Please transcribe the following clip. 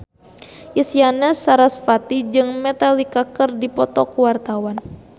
Isyana Sarasvati jeung Metallica keur dipoto ku wartawan